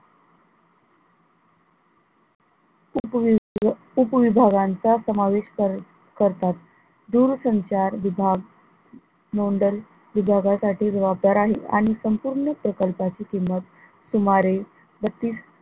उपविभ उपविभागांचा समावेश कर करतात, दूरसंचार विभाग मंडल विभागासाठी जवाबदार आहे आणि संपूर्ण प्रकल्पाची किंमत सुमारे बत्तीस,